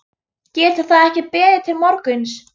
Getur það ekki beðið til morguns?